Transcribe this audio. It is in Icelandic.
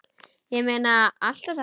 Ég meina, allt þetta fólk!